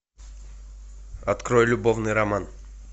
открой любовный роман